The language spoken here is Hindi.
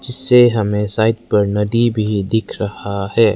से हमें साइड पर नदी भी दिख रहा है।